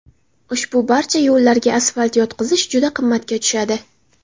Ushbu barcha yo‘llarga asfalt yotqizish juda qimmatga tushadi.